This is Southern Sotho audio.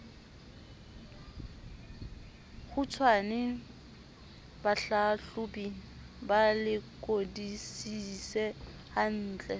kgutshwane bahlahlobi ba lekodisise hantle